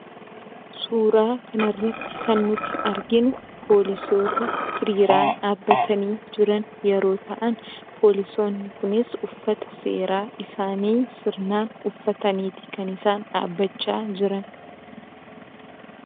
Suuraa kanarratti kan nuti arginu poolisoota hiriiraan dhaabbatanii jiran yeroo ta'an, poolisoonni kunis uffata seeraa isaanii sirnaan ufataniitu kan isaan dhaabbachaa jiran.